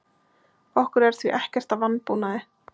Okkur er því ekkert að vanbúnaði